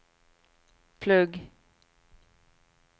plugg